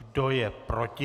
Kdo je proti?